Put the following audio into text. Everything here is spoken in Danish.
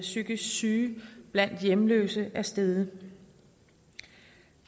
psykisk syge blandt hjemløse er steget